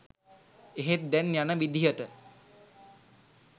එහෙත් දැන් යන විදිහට